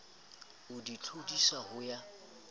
o di tlodisa ho ya